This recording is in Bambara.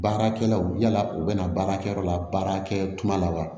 Baarakɛlaw yala u bɛna baara kɛ yɔrɔ la baarakɛ tuma la wa